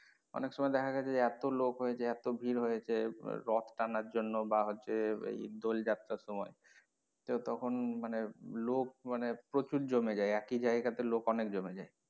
অনেক সময়ে দেখা গেছে যে এতো লোক হয় যে এতো ভিড় হয় যে রথ টানার জন্য বা হচ্ছে দোল যাত্রার সময়ে তো তখন মানে লোক জমে প্রচুর জমে যায় মানে একই জায়গা তে লোক অনেক জমে যায়।